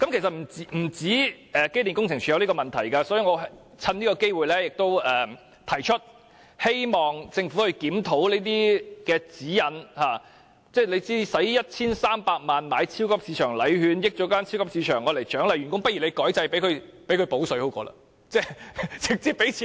其實不單機電署有這個問題，所以我藉此機會提出，希望政府檢討這些指引，為獎勵員工而花 1,300 萬元買超級市場禮券，令大型超級市場受益，不如政府改變制度，"補水"給員工更好，獎金不是比超級市場禮券好嗎？